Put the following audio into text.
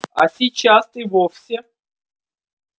а сейчас и вовсе